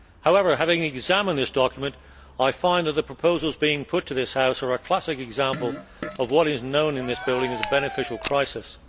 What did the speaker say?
However, having examined this document, I find that the proposals being put to this House are a classic example of what is known in this building as a beneficial crisis'.